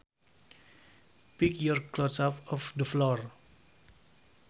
Pick your clothes up off the floor